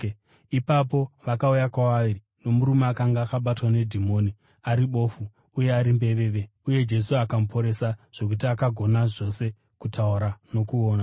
Ipapo vakauya kwaari nomurume akanga akabatwa nedhimoni ari bofu uye ari mbeveve, uye Jesu akamuporesa, zvokuti akagona zvose kutaura nokuona.